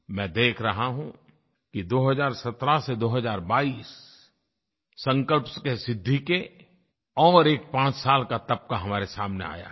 मैं देख रहा हूँ कि 2017 से 2022 संकल्प से सिद्धि के और एक पांच साल का तबका हमारे सामने आया है